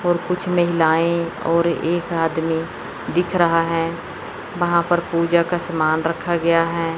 और कुछ महिलाएं और एक आदमी दिख रहा हैं वहां पर पूजा का सामान रखा गया हैं।